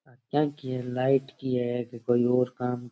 यहाँ की लाइट की है की कोई और काम --